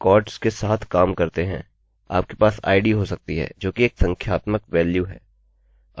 उदाहरणस्वरूपआमतौर पर पहला जब आप रेकॉर्ड्स के साथ काम करते हैं आपके पास id हो सकती है जोकि एक संख्यात्मक वेल्यू है